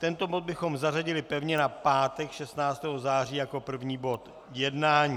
Tento bod bychom zařadili pevně na pátek 16. září jako první bod jednání.